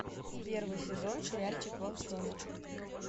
первый сезон сериальчик волчонок